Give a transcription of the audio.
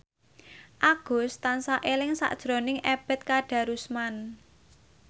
Agus tansah eling sakjroning Ebet Kadarusman